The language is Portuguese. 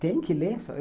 Tem que ler.